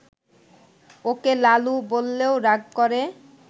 ওকে লালু বললেও রাগ করে